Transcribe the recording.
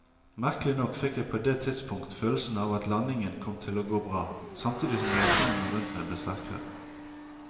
Merkelig nok fikk jeg på det tidspunkt følelsen av at landingen kom til å gå bra, samtidig som reaksjonene rundt meg ble sterkere.